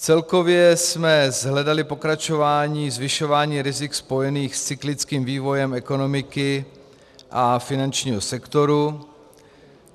Celkově jsme shledali pokračování zvyšování rizik spojených s cyklickým vývojem ekonomiky a finančního sektoru.